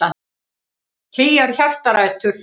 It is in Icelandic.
Hlýjar hjartarætur.